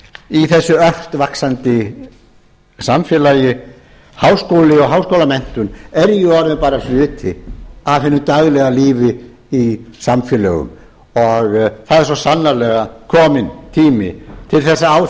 í þessu ört vaxandisamfélagi háskóli og háskólamenntun er orðinn bara hluti af hinu daglega lífi í samfélögum og það er svo sannarlega kominn tími til að á